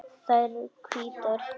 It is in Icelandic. Þær eru hvítar.